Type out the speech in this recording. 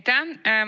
Aitäh!